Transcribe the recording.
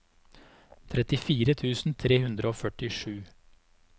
trettifire tusen tre hundre og førtisju